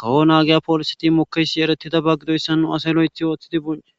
kawo naagiya poolisati mokeysi eretida ba gidoyssa nu asay lo'ethi ooththidi bonci